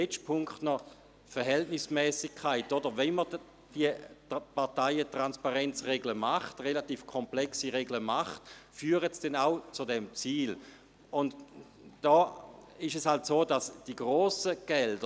Zum letzten Punkt, der Verhältnismässigkeit: Wenn wir diese recht komplexen Parteientransparenzregeln aufstellen, führen diese dann auch zum erklärten Ziel?